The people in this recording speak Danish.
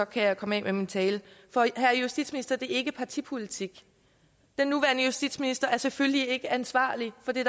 kan jeg komme af med min tale og herre justitsminister det er ikke partipolitik den nuværende justitsminister er selvfølgelig ikke ansvarlig for det